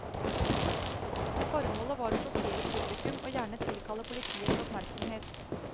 Formålet var å sjokkere publikum og gjerne tilkalle politiets oppmerksomhet.